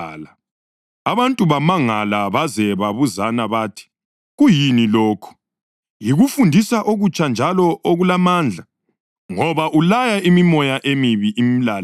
Abantu bamangala baze babuzana bathi, “Kuyini lokhu? Yikufundisa okutsha njalo okulamandla! Ngoba ulaya imimoya emibi imlalele.”